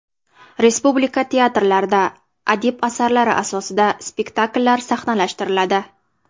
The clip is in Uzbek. Respublika teatrlarida adib asarlari asosida spektakllar sahnalashtiriladi.